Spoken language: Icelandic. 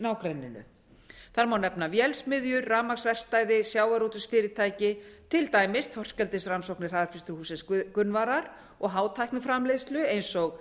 nágrenninu þar má nefna vélsmiðjur rafmagnsverkstæði sjávarútvegsfyrirtæki til dæmis þorskeldisrannsóknir hraðfrystihússins gunnvarar og hátækniframleiðslu ein og